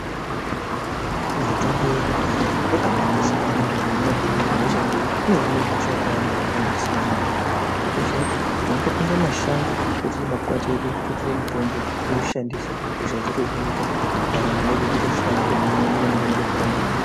Mitombo yekudhaya yakaba kosha maningi panyaya yekuhine hosha ngekuti inohine hosha patinenge tisina mare, kungoziya kuti topinde mumashango totora makwati edutototere mutombo toushandisa ,hosha dzotohinika, ndaramo yedu yoto hlamburika toenderera mberi neku raramama.